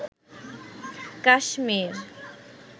Kashmir